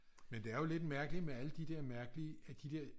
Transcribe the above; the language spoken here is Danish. men det er jo lidt mærkeligt med alle de der mærkelige af de der